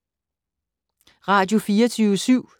Radio24syv